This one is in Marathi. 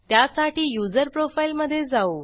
त्यासाठी यूझर प्रोफाइल मध्ये जाऊ